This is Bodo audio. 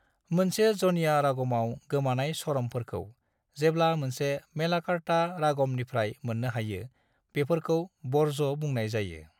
मोनसे जन्या रागमआव गोमानाय स्वरमफोरखौ, जेब्ला मोनसे मेलाकार्ता रागमनिफ्राय मोननो हायो बेफोरखौ वर्ज्य बुंनाय जायो।